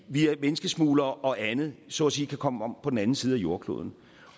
via menneskesmuglere og andet så at sige kan komme om på den anden side af jordkloden